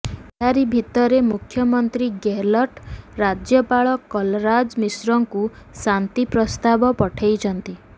ଏହାରି ଭିତରେ ମୁଖ୍ୟମନ୍ତ୍ରୀ ଗେହଲଟ ରାଜ୍ୟପାଳ କଲରାଜ ମିଶ୍ରଙ୍କୁ ସାନି ପ୍ରସ୍ତାବ ପଠାଇଛନ୍ତି